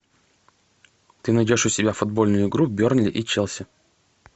ты найдешь у себя футбольную игру бернли и челси